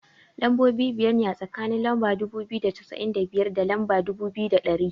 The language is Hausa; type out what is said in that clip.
Lambobi biyar ne, a tsakanin lamba dubu biyu da cassa'in da biyar, da lamba dubu biyu da ɗari.